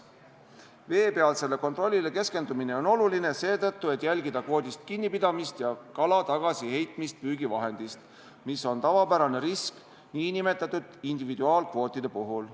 Veepealsele kontrollile keskendumine on oluline seetõttu, et jälgida kvoodist kinnipidamist ja kala tagasiheitmist püügivahendist, mis on tavapärane risk nn individuaalkvootide puhul.